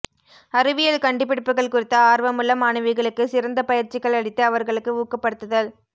அறிவியல் கண்டுபிடிப்புகள் குறித்த ஆர்வமுள்ள மாணவிகளுக்கு சிறந்த பயிற்சிகள் அளித்து அவர்களுக்கு ஊக்கப்படுத்துதல்